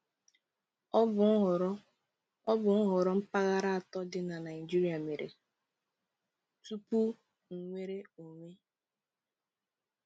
Ọ bụ nhọrọ Ọ bụ nhọrọ mpaghara atọ dị na Naịjirịa mere tupu nnwere onwe.